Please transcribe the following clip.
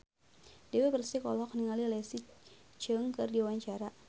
Dewi Persik olohok ningali Leslie Cheung keur diwawancara